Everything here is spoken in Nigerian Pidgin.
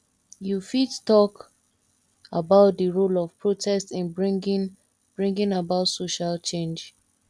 you fit talk about di role of protest in bringing bringing about social change